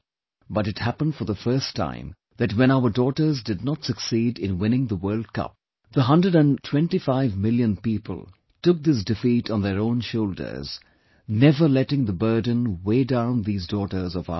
But it happened for the first time that when our daughters did not succeed in winning the World Cup, the hundred and twentyfive million people took this defeat on their own shoulders, never letting the burden weigh down these daughters of ours